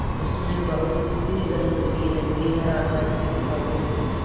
उसमें बहुत सी रंगबिरंगी हर आकार की किताबें थीं